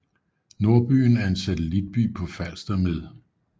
Nordbyen er en satellitby på Falster med